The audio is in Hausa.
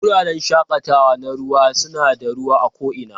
Wuraren shakatawa na ruwa suna da ruwa a ko'ina